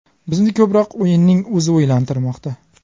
Bizni ko‘proq o‘yinning o‘zi o‘ylantirmoqda.